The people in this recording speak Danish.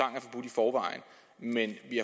forvejen men vi